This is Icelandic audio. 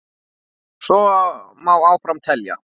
Svo má áfram telja.